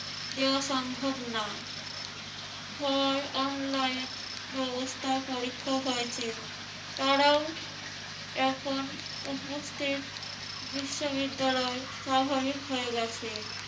দেওয়া সম্ভব না হয় online ব্যবস্থায় পরীক্ষা হয়েছে। তারাও এখন উপস্থিত। বিশ্ববিদ্যালয় স্বাভাবিক হয়ে গেছে।